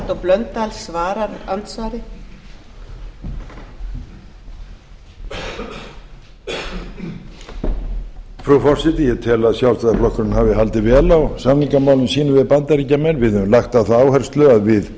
frú forseti ég tel að sjálfstæðisflokkurinn hafi haldið vel á samningamálum sínum við bandaríkjamenn við höfum lagt á það áherslu að við